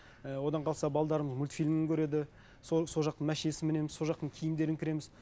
ііі одан қалса мультфильм көреді сол жақтың мәшинесін мінеміз сол жақтың киімдерін кіреміз